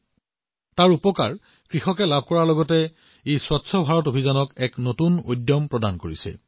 ইয়াৰ দ্বাৰা কেৱল কৃষকসকল লাভান্বিত হোৱাই নহয় ই স্বচ্ছ ভাৰত অভিযানকো এক নতুন শক্তি প্ৰদান কৰিছে